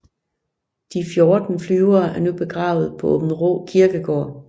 De 14 flyvere er nu begravet på Aabenraa Kirkegård